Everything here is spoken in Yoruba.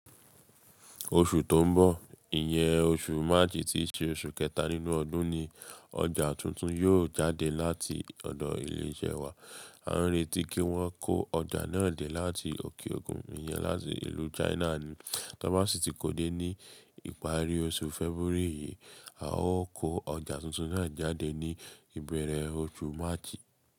Oṣù tó ń bọ̀, ìyẹ́ oṣù March ti ṣe oṣù kẹta nínú ọdún ni ọjà tuntun yóò jáde láti ọ̀dọ̀ ilé iṣẹ́ wa. A ń retí kí wọ́n kó ọjà náà dé láti òkè òkun ìyẹn láti ìlú China ni. Tọ́ bá sì ti kó dé ní ìparí oṣù February yìí, a ó kó ọjà tuntun náà jáde ní ìbẹ̀rẹ̀ oṣù March.